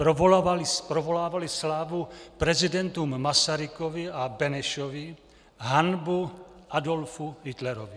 Provolávali slávu prezidentům Masarykovi a Benešovi, hanbu Adolfu Hitlerovi.